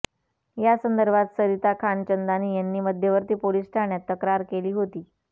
या संदर्भात सरिता खानचंदानी यांनी मध्यवर्ती पोलीस ठाण्यात तक्रार केली होती